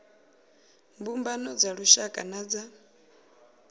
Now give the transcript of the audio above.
mbumbano dza lushaka na dza